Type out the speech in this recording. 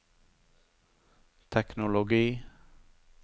teknologi